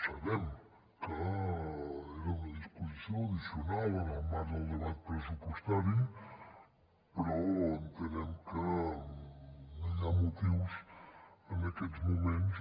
sabem que era una disposició addicional en el marc del debat pressupostari però entenem que no hi ha motius en aquests moments